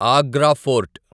Agra fort